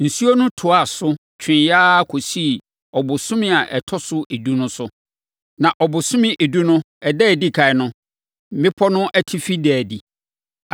Nsuo no toaa so, tweeɛ ara kɔsii ɔbosome a ɛtɔ so edu no so. Na ɔbosome edu no ɛda a ɛdi ɛkan no, mmepɔ no atifi daa adi.